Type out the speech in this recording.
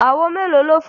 Àwo mélòó ló fọ́?